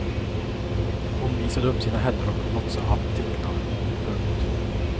Hon visade upp sina händer och låtsa att teckna. punkt